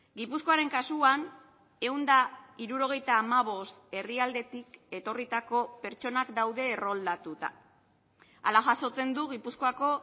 gipuzkoaren kasuan ehun eta hirurogeita hamabost herrialdetik etorritako pertsonak daude erroldatuta hala jasotzen du gipuzkoako